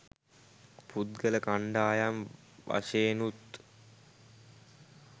පුද්ගල කණ්ඩායම් වශයෙනුත්,